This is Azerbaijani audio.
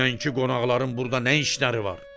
Dünənki qonaqların burada nə işləri var?